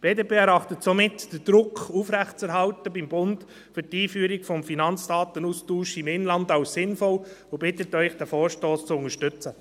Die BDP erachtet es somit als sinnvoll, den Druck beim Bund für die Einführung des Finanzdatenaustauschs im Inland aufrecht zu erhalten und bittet Sie, diesen Vorstoss zu unterstützen.